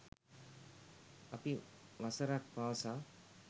අපි වසරක් පාසා